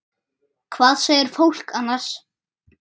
Hvað segir fólk annars?